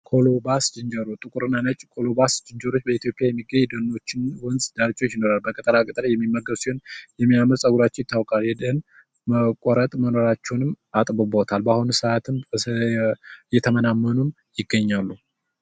ቁሉባስ ዝንጀሮ ጥቁርና ነጭ ቁሉባስ ዝንጀሮ በኢትዮጵያ የሚገኙ ሲሆን በወንዝ ዳርቻዎች ይኖራል ቅጠላቅጠል የሚመገብ ሲሆን የሚያምሩ ፀጉራቸው ይታወቃል ይህም የመኖር አቅማቸውን አጥብቦታል በአሁኑ ሰዓት እየተመናመኑ ይገኛሉ።